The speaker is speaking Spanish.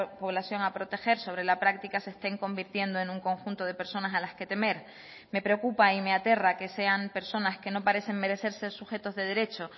población a proteger sobre la práctica se estén convirtiendo en un conjunto de personas a las que temer me preocupa y me aterra que sean personas que no parecen merecer ser sujetos de derecho